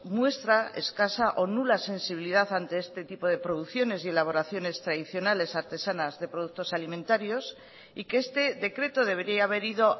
muestra escasa o nula sensibilidad ante este tipo de producciones y elaboraciones tradicionales artesanas de productos alimentarios y que este decreto debería haber ido